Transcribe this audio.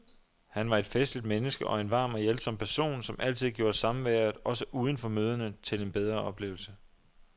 Han var et festligt menneske og en varm og hjælpsom person, som altid gjorde samværet, også uden for møderne, til en bedre oplevelse.